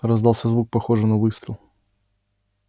раздался звук похожий на выстрел